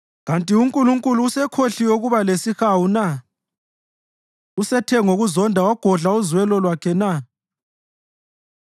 Kanti uNkulunkulu usekhohliwe ukuba lesihawu na? Usethe ngokuzonda wagodla uzwelo lwakhe na?”